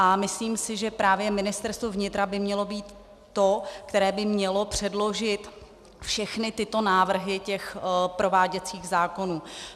A myslím si, že právě Ministerstvo vnitra by mělo být to, které by mělo předložit všechny tyto návrhy těch prováděcích zákonů.